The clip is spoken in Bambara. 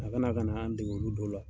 A ka na ka n'an dege olu dɔw la.